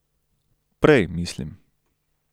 Prej, mislim.